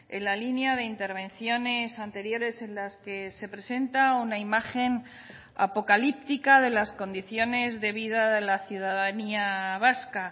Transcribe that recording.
en la línea de intervenciones anteriores en las que se presenta una imagen apocalíptica de las condiciones de vida de la ciudadanía vasca